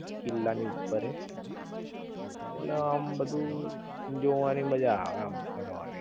કિલ્લાની ઉપર એ ઍટલે આમ બધુ જોવાની મજા આવે આમ ફરવાની